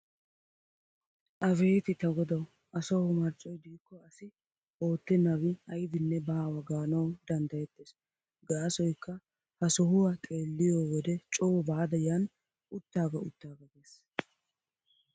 Abeeti ta godawu asawu marccoy de'ikko asi oottennabi aybinne baawa gaanawu danddayettees. Gaasoykka ha sohuwa xeelliyo wode coo baada yan uuttaaga uttaaga gees tana.